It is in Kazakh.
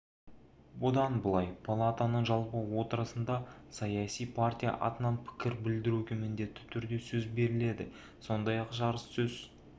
бұдан былай палатаның жалпы отырысында саяси партия атынан пікір білдіруге міндетті түрде сөз беріледі сондай-ақ жарыссөз